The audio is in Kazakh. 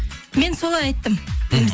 мен солай айттым мхм